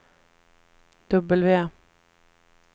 W